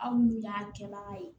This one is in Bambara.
Aw n'u y'an kɛbaga ye